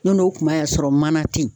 N'o n'o kuma y'a sɔrɔ mana te yen